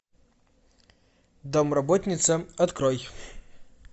домработница открой